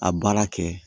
A baara kɛ